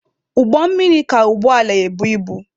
Ụgbọ mmiri ka ụgbọ ala ebu ibu.